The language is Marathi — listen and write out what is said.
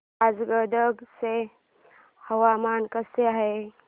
आज गदग चे हवामान कसे आहे